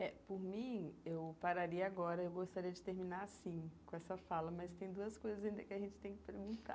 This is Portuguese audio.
É, por mim, eu pararia agora, eu gostaria de terminar, assim, com essa fala, mas tem duas coisas ainda que a gente tem que perguntar.